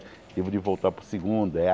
Tive de voltar para o segundo.